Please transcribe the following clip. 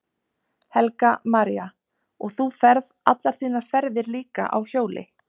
Helga María: Og þú ferð allar þínar ferðar líka á hjóli?